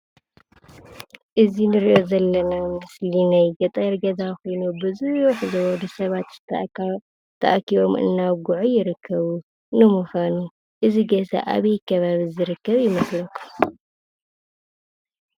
እዚ ንሪኦ ዘለና ምስሊ ናይ ገጠር ገዛ ኾይኑ ብዝሕ ዝበሉ ሰባት ተኣኪቦም እናውግዑ ይርከቡ፡፡ ንምዃኑ እዚ ገዛ ኣበይ ከባቢ ዝርከብ ይመስለኩም?